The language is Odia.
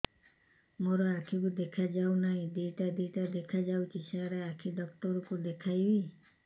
ମୋ ଆଖିକୁ ଦେଖା ଯାଉ ନାହିଁ ଦିଇଟା ଦିଇଟା ଦେଖା ଯାଉଛି ସାର୍ ଆଖି ଡକ୍ଟର କୁ ଦେଖାଇବି